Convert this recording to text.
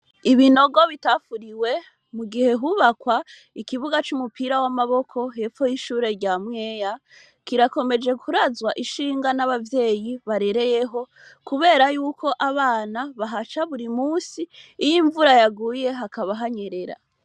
Ibinogo bitafuriwe mu gihe hubakwa ikibuga c'umupiramaboko hepfo y'ishure rya Mweya kirakomeje kurazwa ishinga n'abavyeyi barereyeho kubera yuko abana bahaca buri munsi ; iyo imvura yaguye hakaba hanyerera.